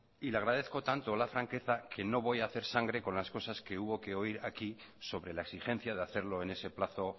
y le agradezco tanto la franqueza que no voy a hacer sangre con las cosas que hubo que oír aquí sobre la exigencia de hacerlo en ese plazo